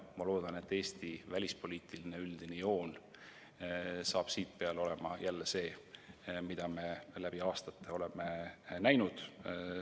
" Ma loodan, et Eesti üldine välispoliitiline joon hakkab siitpeale olema jälle see, mida me läbi aastate oleme näinud.